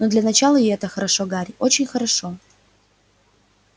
но для начала и это хорошо гарри очень хорошо